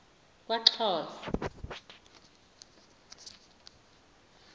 kwaxhosa